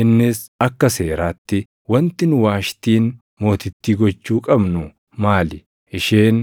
Innis, “Akka seeraatti wanti nu Waashtiin mootittii gochuu qabnu maali? Isheen